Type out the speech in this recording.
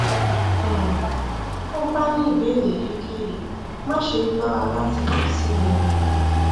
um tó o bá ní ìbéèrè èyíkéyìí máṣe lọra láti kàn sí mi um